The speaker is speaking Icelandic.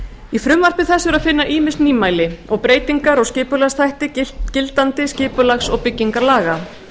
í frumvarpi þessu er að finna ýmis nýmæli og breytingar á skipulagsþætti gildandi skipulags og byggingarlaga